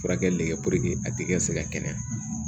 Furakɛli kɛ a tɛ kɛ se ka kɛnɛya